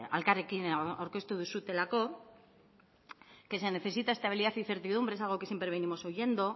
elkarrekin aurkeztu duzuelako que se necesita estabilidad y certidumbre es algo que siempre venimos oyendo